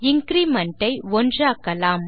increment ஐ 1 ஆக்கலாம்